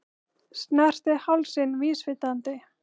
Snerti hálsinn vísvitandi.